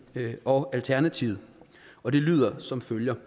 og alternativet og det lyder som følger